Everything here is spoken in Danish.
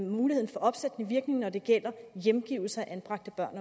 muligheden for opsættende virkning når det gælder hjemgivelse af anbragte børn